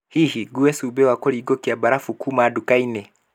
Hihi ngũue cumbĩ wa kurĩngũkĩa barabu kuuma nduka-inĩ?